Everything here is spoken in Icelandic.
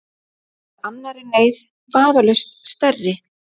Snúið sér að annarri neyð, vafalaust stærri.